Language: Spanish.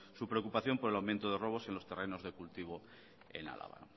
su preocupación por el aumento de robos en los terrenos de cultivo en álava